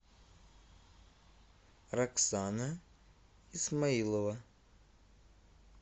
роксана исмаилова